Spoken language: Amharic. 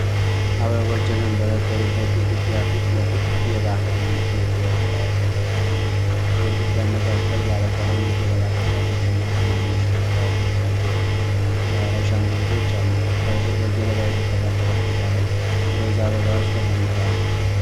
አበቦች የተንጠለጠሉበት ግድግዳ ፊት ለፊት የባህል የኪነጥበብ ስራዎች ተሰቅለዋል። በግድግዳው መካከል ባለቀለም የገለባ ቅርጫቶች እና ትናንሽ መስተዋቶች ያጌጡ የባህል አሻንጉሊቶች አሉ። ከስር፣ በገለባ የተሠራ ጠረጴዛ ላይ ሮዝ አበባዎች ተቀምጠዋል።